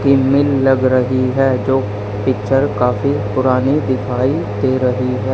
फिल्मील लग रही है जो पिक्चर काफी पुरानी दिखाई दे रही है।